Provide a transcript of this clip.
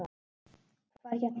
Hvað hérna.